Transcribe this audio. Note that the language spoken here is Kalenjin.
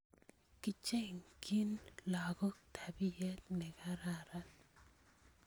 kechengchi lakok tapiet nekararan